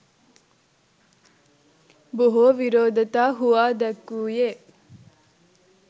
බොහෝ විරෝධතා හුවා දැක්වූයේ